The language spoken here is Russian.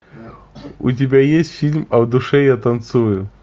у тебя есть фильм а в душе я танцую